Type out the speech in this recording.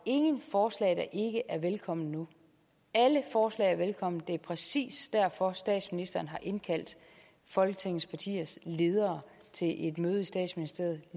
ingen forslag der ikke er velkomne nu alle forslag er velkomne det er præcis derfor statsministeren har indkaldt folketingets partiers ledere til et møde i statsministeriet